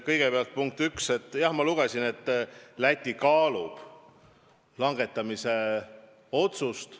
Kõigepealt, punkt üks: jah, ma lugesin, et Läti kaalub langetamise otsust.